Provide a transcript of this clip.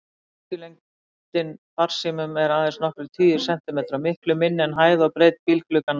Bylgjulengdin farsímum er aðeins nokkrir tugir sentimetra, miklu minni en hæð og breidd bílglugganna.